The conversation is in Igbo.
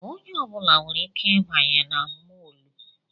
Onye ọbụla nwere ike ịbanye na mọlụ